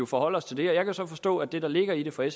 forholde os til det jeg kan så forstå at det der ligger i det fra